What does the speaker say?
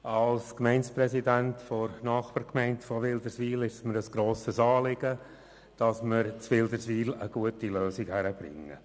Als Gemeindepräsident der Nachbargemeinde von Wilderswil ist es mir ein grosses Anliegen, dass wir in Wilderswil eine gute Lösung hinkriegen.